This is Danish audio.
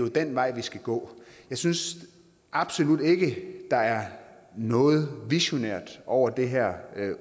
jo den vej vi skal gå jeg synes absolut ikke der er noget visionært over det her